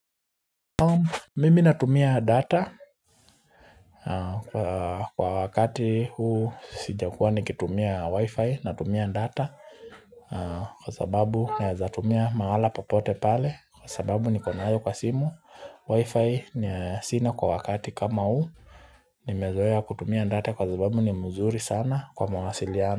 Mimi natumia data kwa wakati huu sijakuwa nikitumia wi-fi natumia data kwa sababu naweza tumia mahala popote pale kwa sababu niko nayo kwa simu wi-fi sina kwa wakati kama huu nimezoea kutumia data kwa sababu ni mzuri sana kwa mawasiliano.